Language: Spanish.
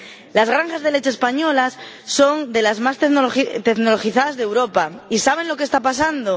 Las granjas de leche españolas son de las más tecnologizadas de Europa y ¿saben lo que está pasando?